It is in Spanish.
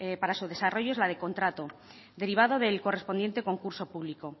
para su desarrollo es la de contrato derivado del correspondiente concurso público